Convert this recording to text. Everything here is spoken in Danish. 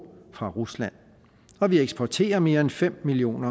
og rusland og vi eksporterer mere end fem million